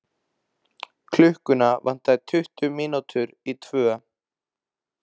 Klukkuna vantaði tuttugu mínútur í tvö.